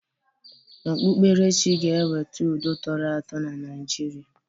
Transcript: Okpukperechi ga-eweta udo tọrọ atọ na Naịjirịa.